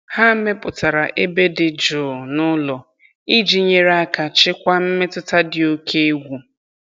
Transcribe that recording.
Ha mepụtara ebe dị jụụ n'ụlọ iji nyere aka chịkwaa mmetụta dị oke egwu.